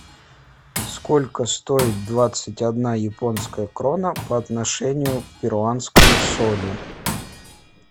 сколько стоит двадцать одна японская крона по отношению к перуанскому солю